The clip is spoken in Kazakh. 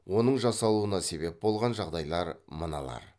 оның жасалуына себеп болған жағдайлар мыналар